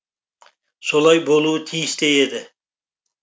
солай болуы тиіс те еді